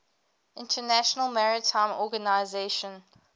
international maritime organization